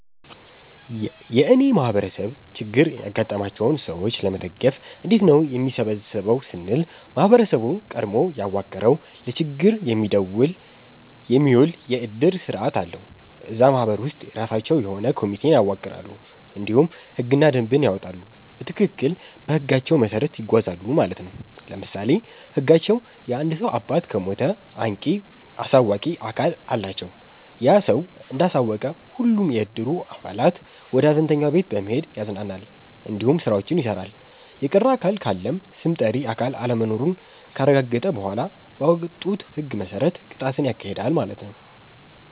የእኔ ማህበረሰብ ችግር ያጋጠማቸውን ሰዎች ለመደገፍ እንዴት ነው የሚሰበሰበው ስንል ማህበረሰቡ ቀድሞ ያዋቀረዉ ለችግር የሚዉል የዕድር ስርዓት አለዉ። እዛ ማህበር ውስጥ የራሳቸዉ የሆነ ኮሚቴን ያዋቅራሉ እንዲሁም ህግና ደንብን ያወጣሉ በትክክል በህጋቸዉ መሰረት ይጓዛሉ ማለት ነዉ። ለምሳሌ ህጋቸዉ የአንድ ሰዉ አባት ከሞተ አንቂ(አሳዋቂ)አካል አላቸዉ ያ ሰዉ እንዳሳወቀ ሁሉም የዕድሩ አባላት ወደ ሀዘንተኛዉ ቤት በመሄድ ያፅናናል እንዲሁም ስራዎችን ይሰራል። የቀረ አካል ካለም ስም ጠሪ አካል አለመኖሩን ካረጋገጠ በኋላ ባወጡት ህግ መሰረት ቅጣትን ያካሂዳል ማለት ነዉ።